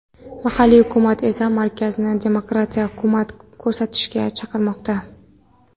Mahalliy hukumat esa markazni demokratiyaga hurmat ko‘rsatishga chaqirmoqda.